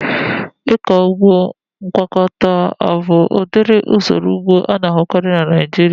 Ịkọ ụgbọ ngwakọta abụ udiri usoro ụgbọ ana-ahukari na Naijiria?